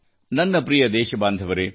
ನನ್ನ ಪ್ರಿಯ ದೇಶಬಾಂಧವರೆ